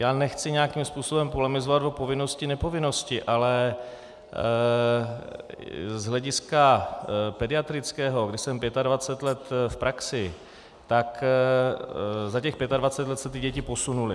Já nechci nějakým způsobem polemizovat o povinnosti - nepovinnosti, ale z hlediska pediatrického, kdy jsem 25 let v praxi, tak za těch 25 let se ty děti posunuly.